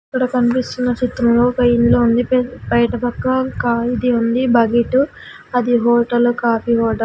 ఇక్కడ కనిపిస్తున్న చిత్రంలో ఒక ఇల్లు ఉంది పే బయటపక్క కాళీ ది ఉంది బకెట్ అది హోటలు కాఫీ హోటల్ .